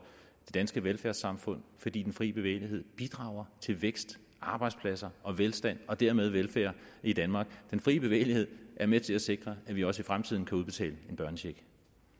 det danske velfærdssamfund fordi den fri bevægelighed bidrager til vækst arbejdspladser og velstand og dermed velfærd i danmark den fri bevægelighed er med til at sikre at vi også i fremtiden kan udbetale en børnecheck